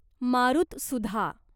मारुतसुधा